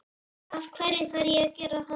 Af hverju þarf ég að gera það?